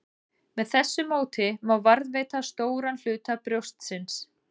Með þessu móti má varðveita stóran hluta brjóstsins.